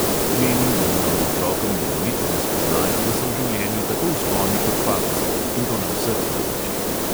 Menim, da moramo otrokom dovoliti, da spoznajo, da so v življenju tako vzponi kot padci, in to na vseh področjih.